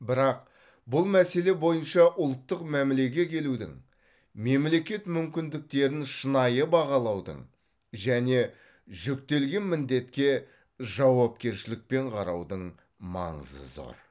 бірақ бұл мәселе бойынша ұлттық мәмілеге келудің мемлекет мүмкіндіктерін шынайы бағалаудың және жүктелген міндетке жауапкершілікпен қараудың маңызы зор